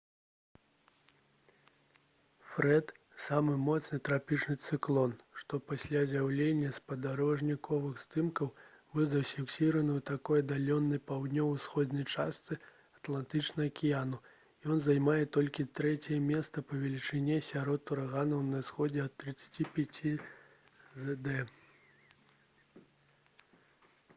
фрэд — самы моцны трапічны цыклон што пасля з'яўлення спадарожнікавых здымкаў быў зафіксаваны ў такой аддаленай паўднёва-ўсходняй частцы атлантычнага акіяну і ён займае толькі трэцяе месца па велічыні сярод ураганаў на ўсход ад 35 ° з.д